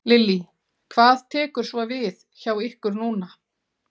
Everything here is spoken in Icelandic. Lillý: Hvað tekur svo við hjá ykkur núna?